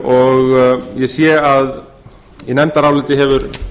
og ég sé að í nefndaráliti hefur